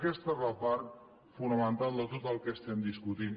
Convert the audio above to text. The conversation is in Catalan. aquesta és la part fonamental de tot el que estem discutint